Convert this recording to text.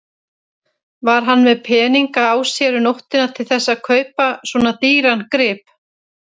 Var hann með peninga á sér um nóttina til þess að kaupa svona dýran grip?